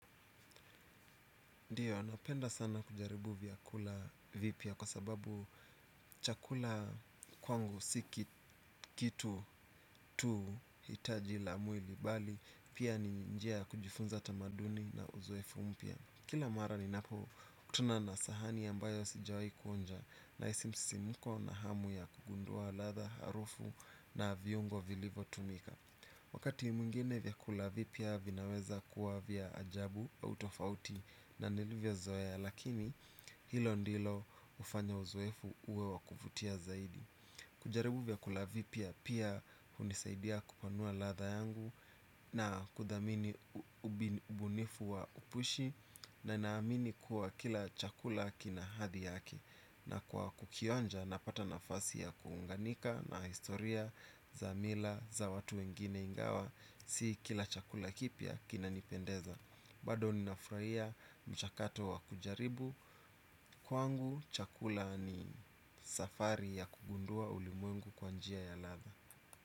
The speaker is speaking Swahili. Ndiyo, napenda sana kujaribu vyakula vipya kwa sababu chakula kwangu si kitu tu hitaji la mwili bali pia ni njia ya kujifunza tamaduni na uzoefu mpya. Kila mara ninapokutuna na sahani ambayo sijawahi kuonja, nahisi msisimko na hamu ya kugundua ladha, harufu na viungo vilivyo tumika. Wakati mwingine vyakula vipya vinaweza kuwa vya ajabu au tofauti na nilivyzoea, lakini hilo ndilo hufanya uzoefu uwe wa kuvutia zaidi. Kujaribu vyakula vipya pia hunisaidia kupanua ladha yangu na kuthamini ubunifu wa upishi na naamini kuwa kila chakula kina hadhi yake. Na kwa kukionja napata nafasi ya kuunganika na historia za mila za watu wengine ingawa si kila chakula kipya kinanipendeza. Bado ninafurahia mchakato wa kujaribu. Kwangu chakula ni safari ya kugundua ulimwengu kwa njia ya ladha.